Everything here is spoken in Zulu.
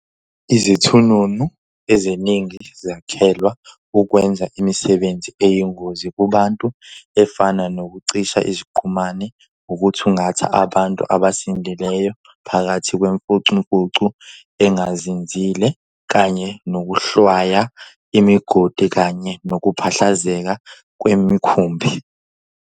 Izithununu eziningi zakhelwa ukwenza imisebenzi eyingozi kubantu, efana nokucisha iziqhumani, ukuthungatha abantu abasindileyo phakathi kwemfucumfucu engazinzile, kanye nokuhlwaya imigodi kanye nokuphahlazeka kwemikhumbi.